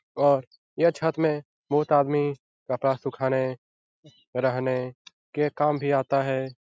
और यह छत में बहुत आदमी कपडा सुखाने रहने के काम भी अता है।